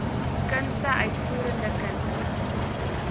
kunste uitvoerende kunste